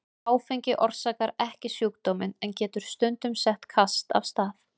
Áfengi orsakar ekki sjúkdóminn en getur stundum sett kast af stað.